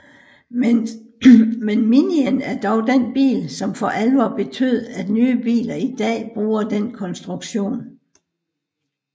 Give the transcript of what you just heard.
Men Minien er dog den bil som for alvor betød at nye biler i dag bruger den konstruktion